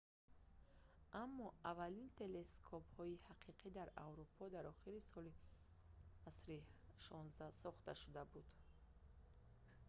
аммо аввалин телескопҳои ҳақиқӣ дар аврупо дар охири асри 16 сохта шуда буданд